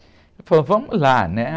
Ele falou, vamos lá, né?